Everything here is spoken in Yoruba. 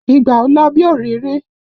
Ìgbà ò lọ bí òréré!